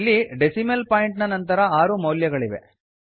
ಇಲ್ಲಿ decimal point ನ ನಂತರ ಆರು ಮೌಲ್ಯಗಳಿವೆ